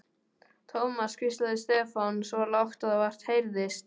Thomas hvíslaði Stefán, svo lágt að vart heyrðist.